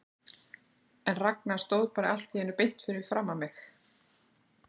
En Ragnar stóð bara allt í einu beint fyrir framan mig.